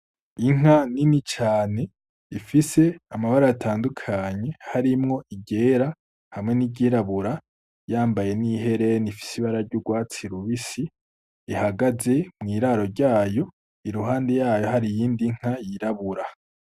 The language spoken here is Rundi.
Inka ni ni cane ifise amabara atandukanye harimwo igera hamwe n'iryirabura yambaye n'ihereni ifise ibara ry' urwatsi rubisi ihagaze mw'iraro ryayo iruhande yayo hari iyindi nka yirabura.